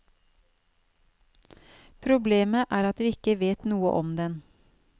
Problemet er at vi ikke vet noe om den.